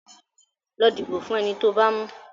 Lọ dìbò fún eni tó bá mú.